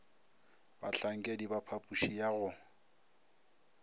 bahlankedi ba phapoši ya go